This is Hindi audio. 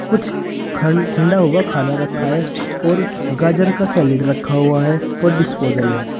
कुछ खंड ठिंडा हुआ खाना रखा है और गाजर का सैलेड रखा हुआ है और डिस्पोजल है।